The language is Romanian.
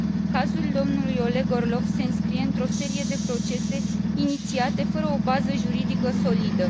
Cazul domnului Oleg Orlov se înscrie într o serie de procese inițiate fără o bază juridică solidă.